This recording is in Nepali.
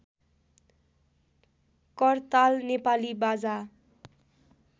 करताल नेपाली बाजा